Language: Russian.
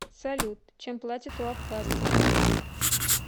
салют чем платят у абхазсцев